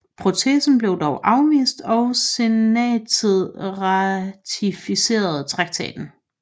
Protesten blev dog afvist og senatet ratificerede traktaten